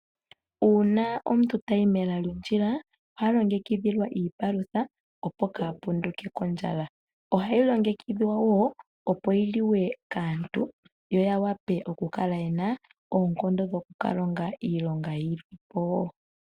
Uuna omuntu tayi mela lyondjila oha longekidhilwa iipalutha opo ka punduke kondjala. Ohayi longekidhwa wo opo yiliwe kaantu yo wape okukala yena oonkondo mokukalonga yolwapo wo.